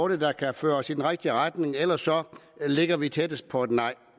der kan føre os i den rigtige retning ellers ligger vi tættest på et nej